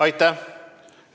Aitäh!